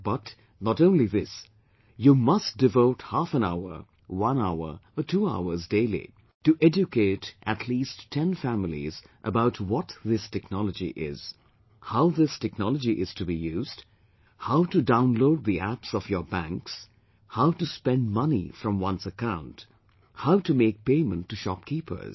But not only this, you must devote half an hour, one hour or two hours daily to educate at least 10 families about what this technology is, how this technology is to be used, how to download the Apps of your banks, how to spend money from one's account, how to make payment to shopkeepers